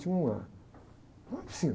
Tinha uma, uma piscina.